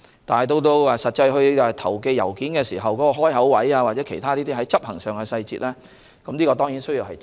但在實際投寄郵件時關於開口位或其他執行上的細節，當然也需要注意。